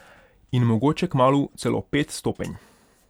In mogoče kmalu celo pet stopenj.